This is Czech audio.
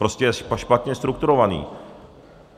Prostě je špatně strukturovaný.